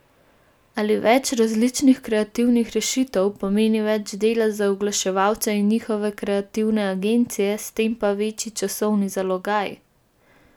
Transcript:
Ali več različnih kreativnih rešitev pomeni več dela za oglaševalce in njihove kreativne agencije, s tem pa večji časovni zalogaj?